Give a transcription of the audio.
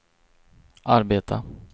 arbeta